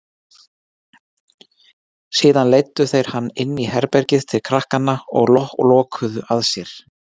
Síðan leiddu þeir hann inní herbergið til krakkanna og lokuðu að sér.